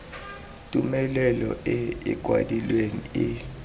tumelelo e e kwadilweng e